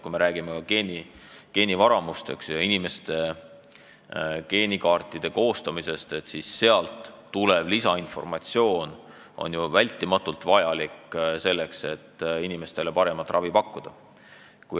Kui me räägime geenivaramust ja inimeste geenikaartide koostamisest, siis sealt tulev lisainformatsioon on vältimatult vajalik, selleks et inimestele paremat ravi pakkuda.